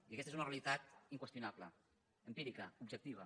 i aquesta és una realitat inqüestionable empírica objectiva